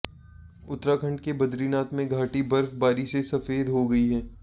उत्तराखंड के बदरीनाथ में घाटी बर्फबारी से सफेद हो गई है